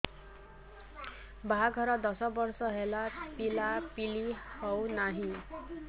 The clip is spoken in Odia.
ବାହାଘର ଦଶ ବର୍ଷ ହେଲା ପିଲାପିଲି ହଉନାହି